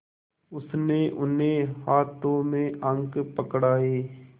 उसने उन्हें हाथों में अंक पकड़ाए